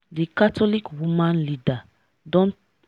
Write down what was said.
d catholic woman leader don